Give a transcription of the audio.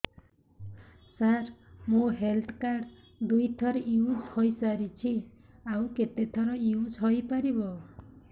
ସାର ମୋ health card ଦୁଇ ଥର ୟୁଜ଼ ହୈ ସାରିଛି ଆଉ କେତେ ଥର ୟୁଜ଼ ହୈ ପାରିବ